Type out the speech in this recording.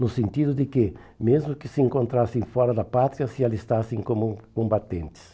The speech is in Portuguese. no sentido de que, mesmo que se encontrassem fora da pátria, se alistassem como combatentes.